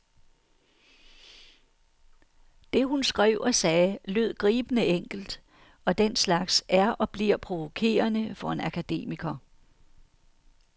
Det, hun skrev og sagde, lød gribende enkelt, og den slags er og bliver provokerende for en akademiker.